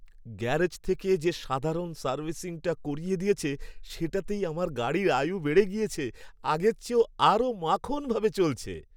Garage থেকে যে সাধারণ সার্ভিসিংটা করিয়ে দিয়েছে সেটাতেই আমার গাড়ির আয়ু বেড়ে গেছে, আগের চেয়ে আরও মাখনভাবে চলছে।